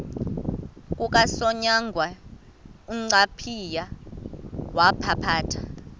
kukasonyangwe uncaphayi wawaphatha